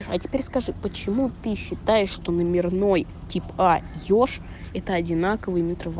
а теперь скажи почему ты считаешь что номерной типа ёж это одинаковые метро